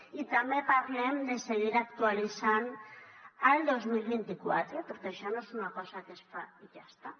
i també parlem de seguir actualitzant ho el dos mil vint quatre perquè això no és una cosa que és fa i ja està